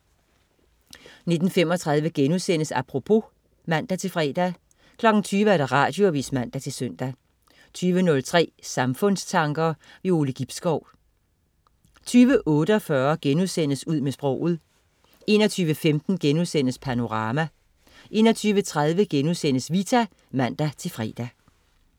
19.35 Apropos* (man-fre) 20.00 Radioavis (man-søn) 20.03 Samfundstanker. Ove Gibskov 20.48 Ud med sproget* 21.15 Panorama* 21.30 Vita* (man-fre)